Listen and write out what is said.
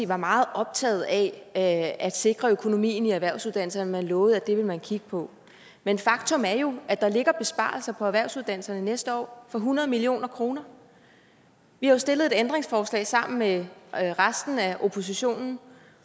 var meget optaget af at sikre økonomien i erhvervsuddannelserne og han lovede at det ville man kigge på men faktum er jo at der ligger besparelser på erhvervsuddannelserne næste år på hundrede million kroner vi har jo stillet et ændringsforslag sammen med resten af oppositionen